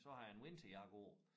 Så har jeg en vinterjakke på